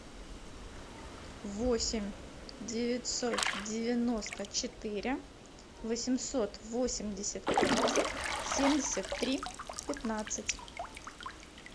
восемь девятьсот девяносто четыре восемьсот восемьдесят пять семьдесят три пятнадцать